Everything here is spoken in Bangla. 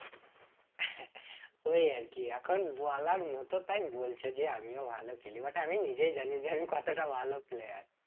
ওই আর কি এখন বলার মত তাই বলছ যে আমিও ভালো খেলি but আমি নিজেই জানি যে আমি কতটা ভালো player